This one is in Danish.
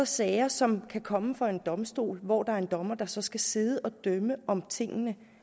sager som kan komme for en domstol hvor der er en dommer der så skal sidde og dømme om tingene